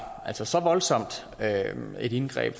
så så voldsomt et indgreb